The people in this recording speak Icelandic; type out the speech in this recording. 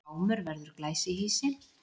Gámur verður glæsihýsi